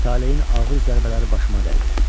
Taleyin ağır zərbələri başıma dəydi.